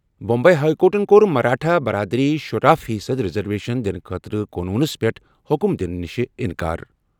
Bombay high کورٹَن کوٚر مراٹھا برادٔری شُراہَ فی صٔدی ریزرویشن دِنہٕ خٲطرٕ قونوٗنَس پٮ۪ٹھ حکم دِنہٕ نِش اِنکار۔